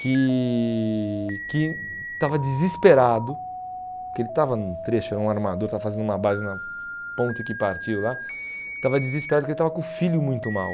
que que estava desesperado, porque ele estava no trecho, era um armador, estava fazendo uma base na ponte que partiu lá, estava desesperado porque ele estava com o filho muito mal.